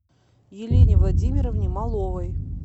елене владимировне маловой